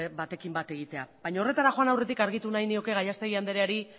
batekin bat egitea baino horretara joan aurretik argitu nahi nioke gallastegui andreari